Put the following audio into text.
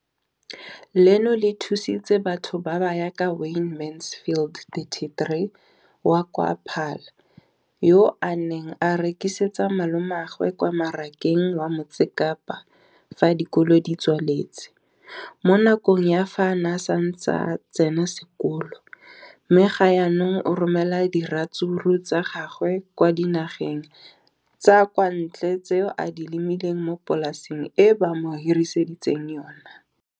leno le thusitse batho ba ba jaaka Wayne Mansfield, 33, wa kwa Paarl, yo a neng a rekisetsa malomagwe kwa Marakeng wa Motsekapa fa dikolo di tswaletse, mo nakong ya fa a ne a santse a tsena sekolo, mme ga jaanong o romela diratsuru tsa gagwe kwa dinageng tsa kwa ntle tseo a di lemileng mo polaseng eo ba mo hiriseditseng yona.